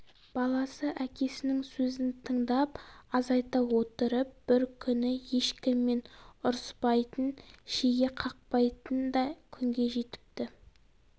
баласы әкесінің сөзін тыңдап азайта отырып бір күні ешкіммен ұрыспайтын шеге қақпайтын да күнге жетіпті